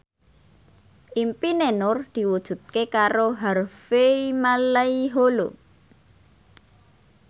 impine Nur diwujudke karo Harvey Malaiholo